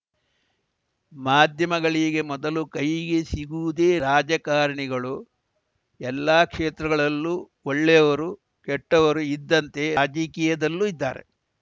ಮಾಧ್ಯಮಗಳಿಗೆ ಮೊದಲು ಕೈಗೆ ಸಿಗುವುದೇ ರಾಜಕಾರಣಿಗಳು ಎಲ್ಲಾ ಕ್ಷೇತ್ರಗಳಲ್ಲೂ ಒಳ್ಳೆಯವರು ಕೆಟ್ಟವರು ಇದ್ದಂತೆ ರಾಜಕೀಯದಲ್ಲೂ ಇದ್ದಾರೆ